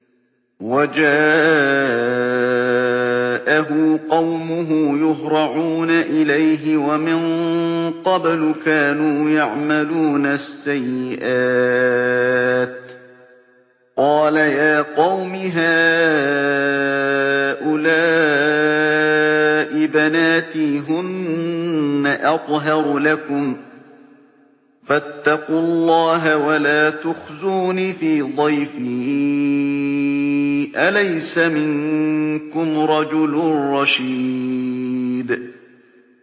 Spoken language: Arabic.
وَجَاءَهُ قَوْمُهُ يُهْرَعُونَ إِلَيْهِ وَمِن قَبْلُ كَانُوا يَعْمَلُونَ السَّيِّئَاتِ ۚ قَالَ يَا قَوْمِ هَٰؤُلَاءِ بَنَاتِي هُنَّ أَطْهَرُ لَكُمْ ۖ فَاتَّقُوا اللَّهَ وَلَا تُخْزُونِ فِي ضَيْفِي ۖ أَلَيْسَ مِنكُمْ رَجُلٌ رَّشِيدٌ